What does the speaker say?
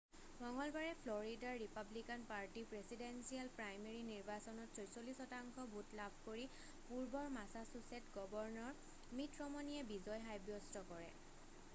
মঙ্গলবাৰে Florida Republican party presidential primary নিৰ্বাচনত 46 শতাংশ ভোট লাভ কৰি পূৰ্বৰ মাছাছুছেট গৱৰ্ণৰ মিট ৰমনিয়ে বিজয় সাব্যস্ত কৰে